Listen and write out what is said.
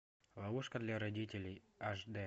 ловушка для родителей аш дэ